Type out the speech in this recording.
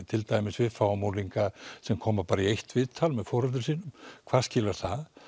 til dæmis við fáum unglinga sem koma bara í eitt viðtal með foreldrum sínum hvað skilar það